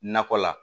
Nakɔ la